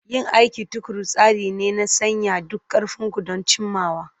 Yin aiki tuƙuru tsari ne na sanya duk ƙarfin ku don cimmawa.